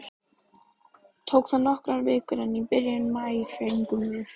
Tók það nokkrar vikur, en í byrjun maí fengum við